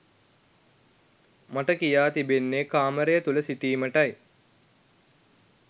මට කියා තිබෙන්නේ කාමරය තුළ සිටීමටයි.